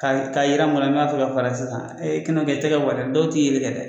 Ka ka yira mɔgɔ n'i b'a fɛ ka fara sisan , kɛ n'o kɛ , i tɛgɛ bɔ dɛ dɔw tɛ yeli kɛ dɛ